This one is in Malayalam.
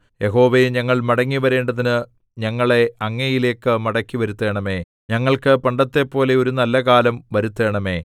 യഹോവേ ഞങ്ങൾ മടങ്ങി വരേണ്ടതിന് ഞങ്ങളെ അങ്ങയിലേയ്ക്ക് മടക്കിവരുത്തേണമേ ഞങ്ങൾക്ക് പണ്ടത്തെപ്പോലെ ഒരു നല്ലകാലം വരുത്തേണമേ